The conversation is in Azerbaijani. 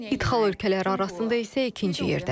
İdxal ölkələri arasında isə ikinci yerdədir.